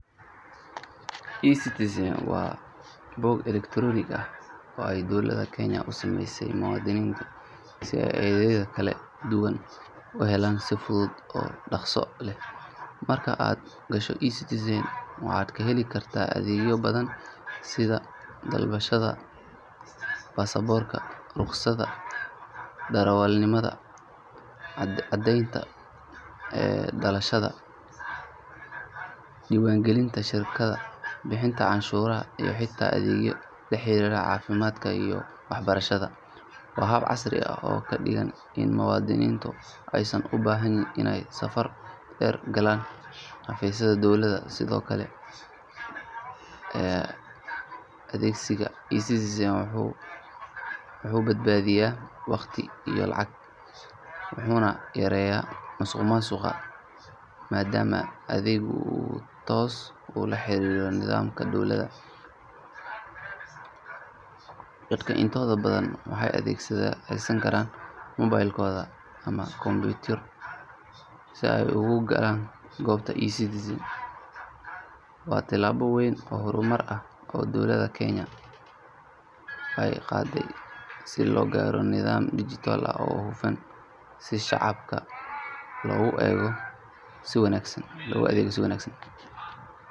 eCitizen waa bog elektaroonik ah oo ay dowladda Kenya u sameysay muwaadiniinta si ay adeegyada kala duwan uga helaan si fudud oo dhakhso leh. Marka aad gasho eCitizen waxaad ka heli kartaa adeegyo badan sida dalbashada baasaboorka, rukhsadda darawalnimada, caddeynta dhalashada, diiwaangelinta shirkado, bixinta canshuuraha iyo xitaa adeegyo la xiriira caafimaadka iyo waxbarashada. Waa hab casri ah oo ka dhigay in muwaadiniintu aysan u baahnayn inay safar dheer u galaan xafiisyada dowladda. Sidoo kale, adeegsiga eCitizen wuxuu badbaadinayaa waqti iyo lacag, wuxuuna yareynayaa musuqmaasuqa maadaama adeeggu uu toos ula xiriirayo nidaamka dowladda. Dadka intooda badan waxay adeegsan karaan moobilkooda ama kombiyuutar si ay ugu galaan goobtan. eCitizen waa tallaabo weyn oo horumar ah oo dowladda Kenya ay qaaday si loo gaaro nidaam dijitaal ah oo hufan, si shacabka loogu adeego si wanaagsan.